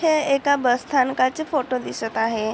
हे एका बस स्थानकाचे फोटो दिसत आहे.